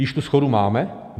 Již tu shodu máme?